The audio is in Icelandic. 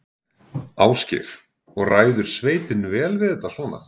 Ásgeir: Og ræður sveitin vel við þetta svona?